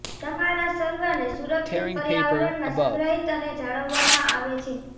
તમારા સર્વરને સુરક્ષિત પર્યાવરણમાં સંગ્રહિત અને જાળવવામાં આવે છે